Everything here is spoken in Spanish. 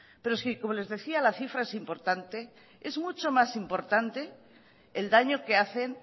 pero sí que como les decía la cifra es importante el daño que hacen